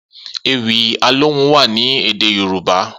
Ewì Alohùn wà ni édé yorùbá